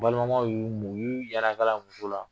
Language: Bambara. Balimamaw y'u munyu , u y'u A muso la.